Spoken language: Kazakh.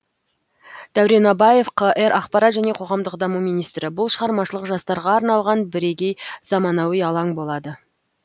дәурен абаев қр ақпарат және қоғамдық даму министрі бұл шығармашылық жастарға арналған бірегей заманауи алаң болады